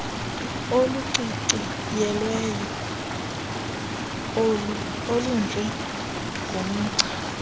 oluciciyelweyo olunje ngomgca